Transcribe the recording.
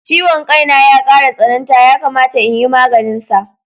Ciwon ƙai na ya ƙara tsananta, yakamata in yi maganinsa.